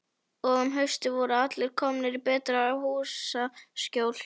Og um haustið voru allir komnir í betra húsaskjól.